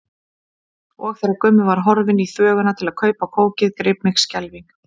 Og þegar Gummi var horfinn í þvöguna til að kaupa kókið greip mig skelfing.